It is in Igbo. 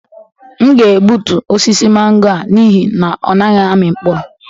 M ga-egbutu osisi mango a n'ihi na ọ naghị amị mkpụrụ